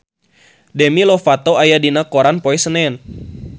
Demi Lovato aya dina koran poe Senen